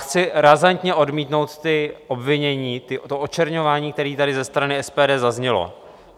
Chci razantně odmítnout ta obvinění, to očerňování, které tady ze strany SPD zaznělo.